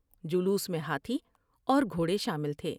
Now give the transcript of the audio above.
جلوس میں ہاتھی اور گھوڑے شامل تھے ۔